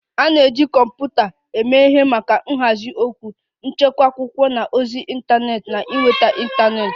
A na-eji kọmputa eme ihe maka nhazi okwu, ịchekwa akwụkwọ na ozi ịntanetị na ịnweta ịntanetị